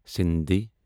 Sindhi